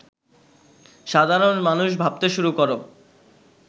সাধারণ মানুষ ভাবতে শুরু কর